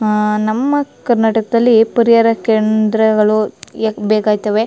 ಅಹ್ ನಮ್ಮ ಕರ್ನಾಟಕದಲ್ಲಿ ಪರಿಹಾರ ಕೇಂದ್ರಗಳು ಏಕ್ ಬೇಕಾಗತ್ತವೆ.